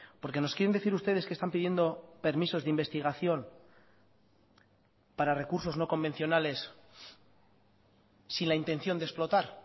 porque nos quieren decir ustedes que están pidiendo permisos de investigación para recursos no convencionales sin la intención de explotar